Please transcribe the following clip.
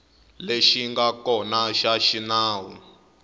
lexi nga kona xa xinawu